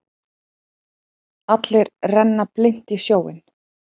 Allir renna blint í sjóinn.